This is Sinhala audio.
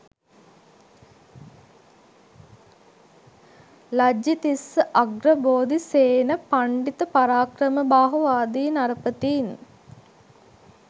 ලජ්ජිතිස්ස, අග්‍රබෝධි, සේන, පණ්ඩිත පරාක්‍රමබාහු ආදී නරපතීන්